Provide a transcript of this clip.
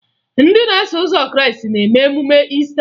Ndị na-eso ụzọ Krịịstị na-eme emume Iista